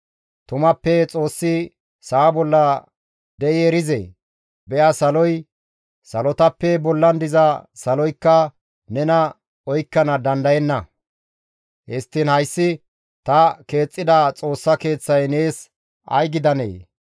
«Tumappe Xoossi sa7a bolla de7i erizee? Be7a saloy, salotappe bollan diza saloykka nena oykkana dandayenna; histtiin hayssi ta keexxida Xoossa Keeththay nees ay gidanee!